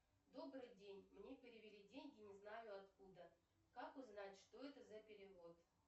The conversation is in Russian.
добрый день мне перевели деньги не знаю откуда как узнать что это за перевод